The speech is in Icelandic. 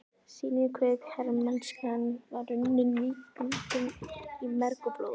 sýnir hve hermennskan var runnin víkingum í merg og blóð.